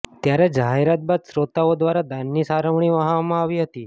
ત્યારે જાહેરાત બાદ શ્રોતાઓ દ્વારા દાનની સરવાણી વહાવવામાં આવી હતી